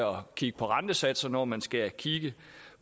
kigge på rentesatser når man skal kigge